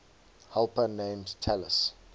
helper named talus